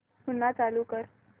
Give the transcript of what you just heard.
पुन्हा चालू कर